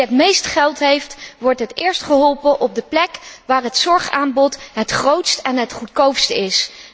Wie het meeste geld heeft, wordt het eerst geholpen op de plek waar het zorgaanbod het grootst en het goedkoopst is.